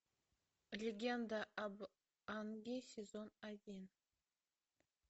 легенда об аанге сезон один